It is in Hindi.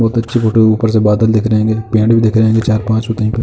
बहोत अच्छी फोटो है। ऊपर से बादल दिख रहे हैं और पेड़ भी दिख रहे हैं। चार पाँच --